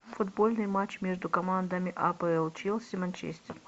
футбольный матч между командами апл челси манчестер